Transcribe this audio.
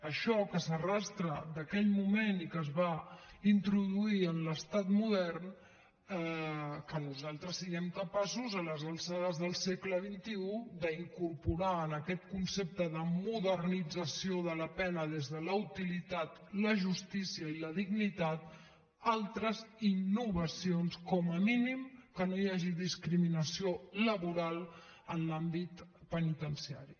això que s’arrossega d’aquell moment i que es va introduir en l’estat modern que nosaltres siguem capaços a les alçades del segle xxi d’incorporar en aquest concepte de modernització de la pena des de la utilitat la justícia i la dignitat altres innovacions com a mínim que no hi hagi discriminació laboral en l’àmbit penitenciari